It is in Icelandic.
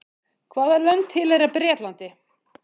Hvaða lönd tilheyra Bretlandi?